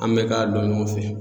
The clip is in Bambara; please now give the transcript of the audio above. An bɛ k'a dun ɲɔgɔn fɛ.